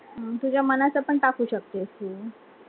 तुझ्या मनाच पण टाकू शकतेस तू